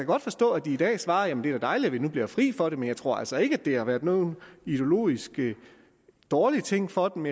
godt forstå at de i dag svarer at det er dejligt at de nu bliver fri for det men jeg tror altså ikke at det har været nogen ideologisk dårlig ting for dem